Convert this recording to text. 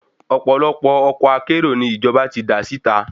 Ọ̀pọ̀lọpọ̀ ọkọ̀ akérò ni ìjọba dá síta